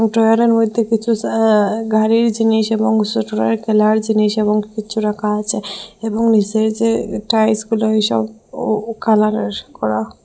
ড্রয়ারের মইধ্যে কিছু স আ গাড়ির জিনিস এবং সোটদের খেলার জিনিস এবং কিছু রাখা আছে এবং নীসের যে একটা ও কালারের করা--